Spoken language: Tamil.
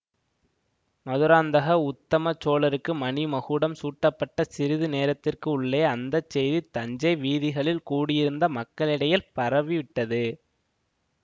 மதுராந்தக உத்தமச் சோழருக்கு மணி மகுடம் சூட்டப்பட்ட சிறிது நேரத்துக்குள்ளே அந்த செய்தி தஞ்சை வீதிகளில் கூடியிருந்த மக்களிடையில் பரவி விட்டது